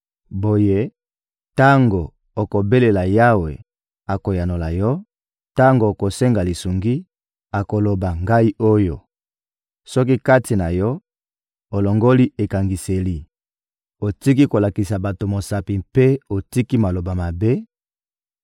Boye, tango okobelela Yawe, akoyanola yo; tango okosenga lisungi, akoloba: ‹Ngai oyo.› Soki kati na yo, olongoli ekangiseli, otiki kolakisa bato mosapi mpe otiki maloba mabe;